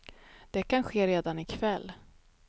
Det kan ske redan i kväll.